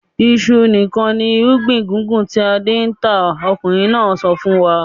"Iṣu nìkan ni irúgbìn gbùngbùn tí Adé ń tà!" Ọkùnrin náà sọ fún wa.